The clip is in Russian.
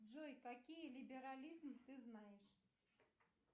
джой какие либерализмы ты знаешь